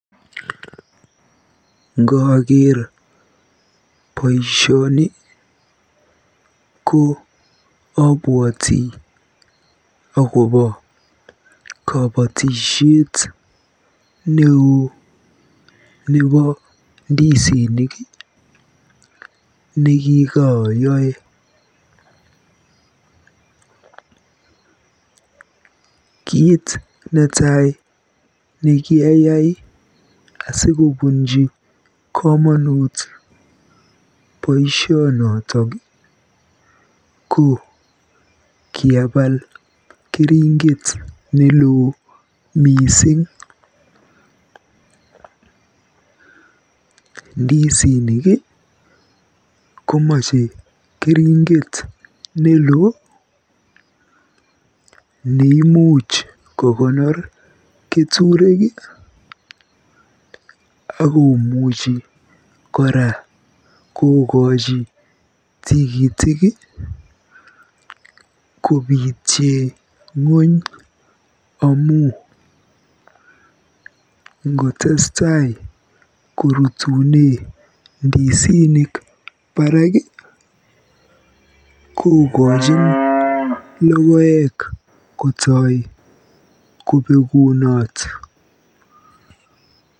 Ngooker boisioni ko abwoti akobo kobotisiet neoo nebo ndisinik nekikaayoe. Kiit netai nekiayai sikobunj komonut boisionot ko kiapal keringet neloo mising. Ndisinik komeche keringet neloo neimuch kokonor keturek akomuchi kora tigitik kobiitye ng'ony am ngotestaei korutune ndisinik baraak kokojin logoek kotoi kobekunot.